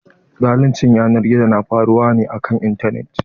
Zaluncin yanar gizo na faruwa ne a kan intanet.